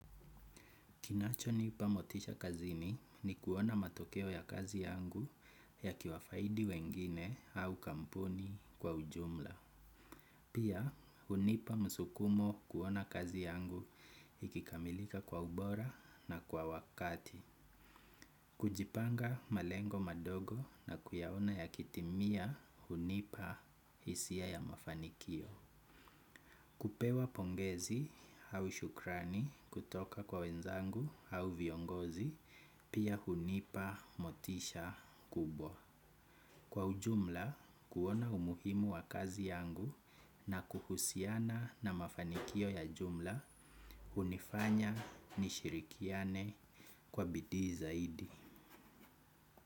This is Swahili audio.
Kinacho nipa motisha kazini ni kuona matokeo ya kazi yangu yakiwafaidi wengine au kampuni kwa ujumla. Pia, hunipa msukumo kuona kazi yangu ikikamilika kwa ubora na kwa wakati. Kujipanga malengo madogo na kuyaona ya kitimia hunipa hisia ya mafanikio. Kupewa pongezi au shukrani kutoka kwa wenzangu au viongozi, pia hunipa motisha kubwa. Kwa ujumla, kuona umuhimu wa kazi yangu na kuhusiana na mafanikio ya jumla, hunifanya nishirikiane kwa bidii zaidi.